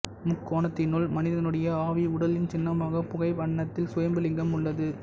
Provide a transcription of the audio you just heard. முக்கோணத்தினுள் மனிதனுடைய ஆவி உடலின் சின்னமாக புகை வண்ணத்தில் சுயம்பு லிங்கம் உள்ளது